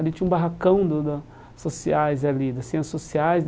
Ali tinha um barracão do da Sociais ali, da Ciências Sociais.